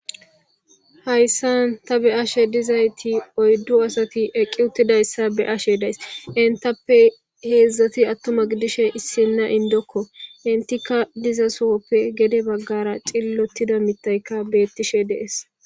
hayssan ta be'ashe dizayti oyddu asati eqqi uttidayssa be'ashe days intappe heedzdzati attuma gidishe issinna indokko intika diza sohoppe gede baggara cillotida mitayka beettishe de'ees